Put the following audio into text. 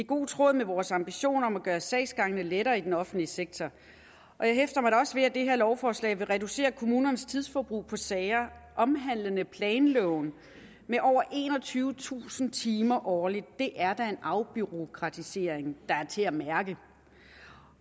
god tråd med vores ambition om at gøre sagsgangene lettere i den offentlige sektor og jeg hæfter mig da også ved at det her lovforslag vil reducere kommunernes tidsforbrug på sager omhandlende planloven med over enogtyvetusind timer årligt det er da en afbureaukratisering der er til at mærke